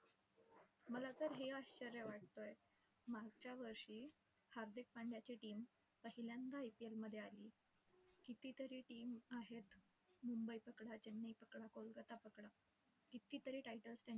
मला तर हे आश्चर्य वाटतंय, मागच्या वर्षी हार्दिक पंड्याची team पहिल्यांदा IPL मध्ये आली. कितीतरी team आहेत. मुंबई पकडा, चेन्नई पकडा, कोलकाता पकडा. कितीतरी titles